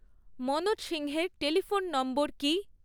মনোজ সিংহের telephone number কী?